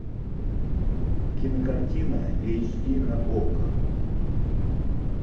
кинокартина эйч ди на окко